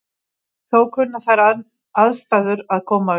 Þó kunna þær aðstæður að koma upp.